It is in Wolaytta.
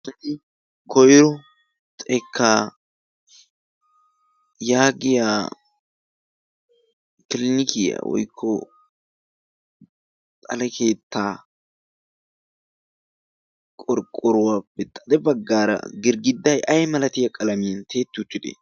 koyro xekka yaagiyaa kilinikiyaa woykko xale keetta qorqoruwappe xade baggaara girgidday ay malatiyaa qalamiyan tiyetti uttidee?